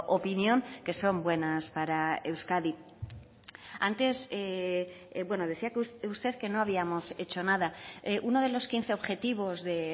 opinión que son buenas para euskadi antes decía usted que no habíamos hecho nada uno de los quince objetivos de